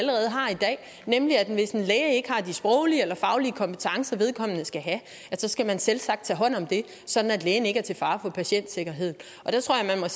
i dag nemlig at hvis en læge ikke har de sproglige eller faglige kompetencer som vedkommende skal have skal man selvsagt tage hånd om det sådan at lægen ikke er til fare for patientsikkerheden og der tror jeg